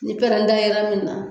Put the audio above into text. Ni pɛrɛnda yera min na